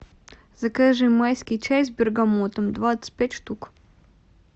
закажи майский чай с бергамотом двадцать пять штук